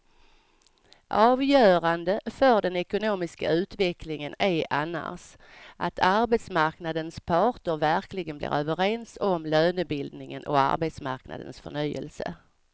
Avgörande för den ekonomiska utvecklingen är annars att arbetsmarknadens parter verkligen blir överens om lönebildningen och arbetsmarknadens förnyelse.